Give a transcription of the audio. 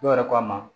Dɔw yɛrɛ ko a ma